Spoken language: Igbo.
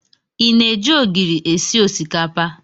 I na-eji ogiri esi osikapa?